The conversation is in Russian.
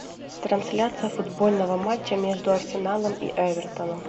трансляция футбольного матча между арсеналом и эвертоном